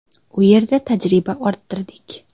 U yerda tajriba orttirdik.